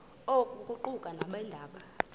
oku kuquka nabeendaba